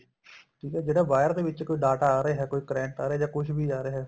ਠੀਕ ਏ ਜਿਹੜਾ wire ਦੇ ਵਿੱਚ ਕੋਈ data ਆ ਰਿਹਾ ਕੋਈ current ਆ ਰਿਹਾ ਜਾਂ ਕੁੱਝ ਵੀ ਆ ਰਿਹਾ